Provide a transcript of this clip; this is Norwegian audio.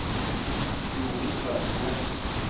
Jorid Strømsnes